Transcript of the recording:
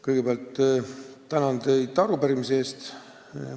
Kõigepealt tänan teid arupärimise eest!